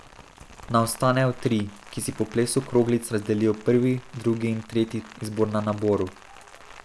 Na ostanejo tri, ki si po plesu kroglic razdelijo prvi, drugi in tretji izbor na naboru.